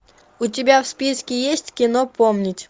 у тебя в списке есть кино помнить